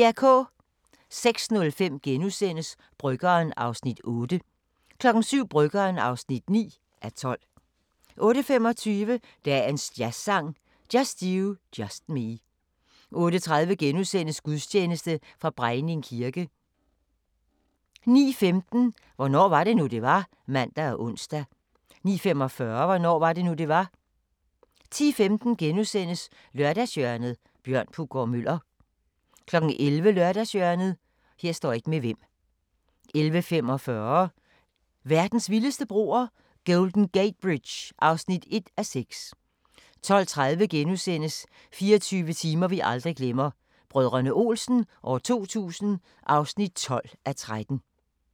06:05: Bryggeren (8:12)* 07:00: Bryggeren (9:12) 08:25: Dagens jazzsang: Just you, just me 08:30: Gudstjeneste fra Brejning kirke * 09:15: Hvornår var det nu, det var? *(man og ons) 09:45: Hvornår var det nu, det var? 10:15: Lørdagshjørnet – Bjørn Puggaard-Muller * 11:00: Lørdagshjørnet 11:45: Verdens vildeste broer – Golden Gate Bridge (1:6) 12:30: 24 timer vi aldrig glemmer – Brdr. Olsen 2000 (12:13)*